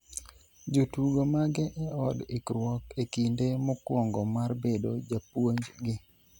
jotugo mage e od ikruok e kinde mokwongo mar bedo japuonj gi